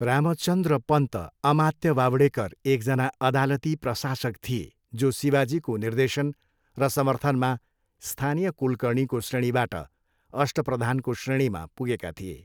रामचन्द्र पन्त अमात्य बावडेकर एकजना अदालती प्रशासक थिए जो शिवाजीको निर्देशन र समर्थनमा स्थानीय कुलकर्णीको श्रेणीबाट अष्टप्रधानको श्रेणीमा पुगेका थिए।